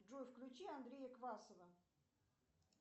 джой включи андрея квасова